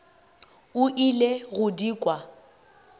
o ile go di kwa